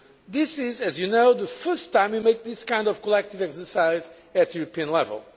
This is, as you know, the first time we are carrying out this kind of collective exercise at European level.